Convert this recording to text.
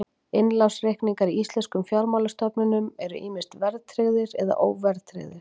Innlánsreikningar í íslenskum fjármálastofnunum eru ýmist verðtryggðir eða óverðtryggðir.